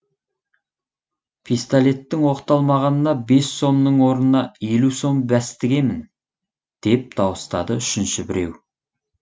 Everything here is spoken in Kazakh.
пистолеттің оқталмағанына бес сомның орнына елу сом бәс тігемін деп дауыстады үшінші біреу